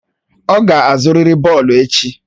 Ọ ga-azụrịrị bọọlụ echi!